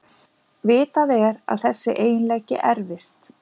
Vitað er að þessi eiginleiki erfist.